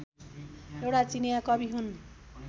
एउटा चिनियाँ कवि हुन्